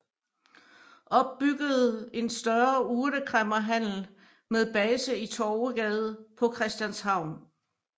Opbyggede en større urtekræmmerhandel med base i Torvegade på Christianshavn